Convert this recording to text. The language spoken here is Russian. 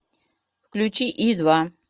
включи и два